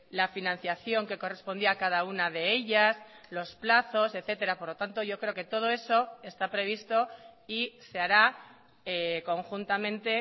la financiación que correspondía a cada una de ellas los plazos etcétera por lo tanto yo creo que todo eso está previsto y se hará conjuntamente